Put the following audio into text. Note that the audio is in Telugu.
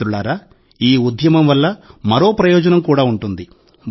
మిత్రులారా ఈ ఉద్యమం వల్ల మరో ప్రయోజనం కూడా ఉంటుంది